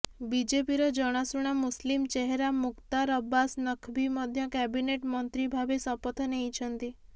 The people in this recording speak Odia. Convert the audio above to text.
ବିଜେପିର ଜଣାଶୁଣା ମୁସ୍ଲିମ ଚେହେରା ମୁଖ୍ତାର ଅବ୍ବାସ ନକ୍ଭୀ ମଧ୍ୟ କ୍ୟାବିନେଟ୍ ମନ୍ତ୍ରୀ ଭାବେ ଶପଥ ନେଇଛନ୍ତି